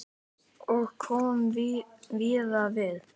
Og kom víða við.